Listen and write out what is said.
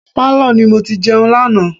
Pálọ̀ ni mo ti jẹun lánàá.